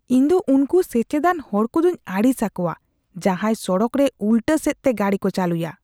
ᱤᱧᱫᱚ ᱩᱱᱠᱩ ᱥᱮᱪᱮᱫᱟᱱ ᱦᱚᱲ ᱠᱚᱫᱚᱧ ᱟᱹᱲᱤᱥ ᱟᱠᱚᱣᱟ ᱡᱟᱦᱟᱭ ᱥᱚᱲᱚᱠ ᱨᱮ ᱩᱞᱴᱟᱹ ᱥᱮᱡᱽᱛᱮ ᱜᱟᱹᱰᱤ ᱠᱚ ᱪᱟᱹᱞᱩᱭᱟ ᱾